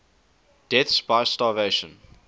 deaths by starvation